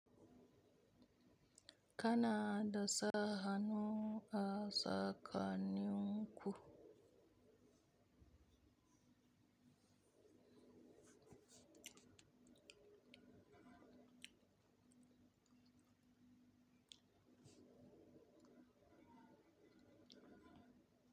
Kana da sa hanu a tsakanin ku?